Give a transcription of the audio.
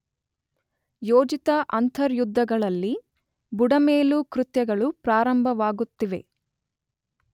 ಯೋಜಿತ ಅಂತರ್ಯುದ್ಧಗಳಲ್ಲಿ ಬುಡಮೇಲು ಕೃತ್ಯಗಳು ಪ್ರಾರಂಭವಾಗುತ್ತವೆ.